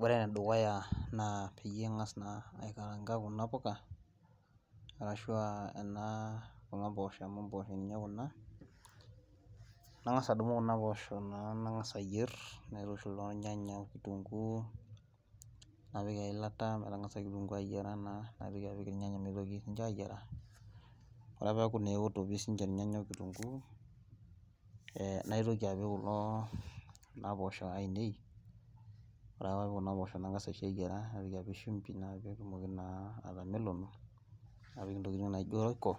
Ore ene dukuya naa peyiee ing'as naa aikaraanga kuna puka arashuu aa kuna poosho amu imposhoo naa kuna nangasaa adumu kuna poosho naa nangasa ayier naitushul ornyanya oo kitunguu napik eilata metangasa kitungu ayiera naa nitoki apik irnyanya nitoki ninche ayiara oree peeku naa eoto irnyanya oo kitungu naitoki apik kulo kuna poosho ainei oree ake paapik kuna poosho ainei nangasa aisho eyiara naitoki apik shumpi peetumoki naa atameleno napik intokiting naijo roiko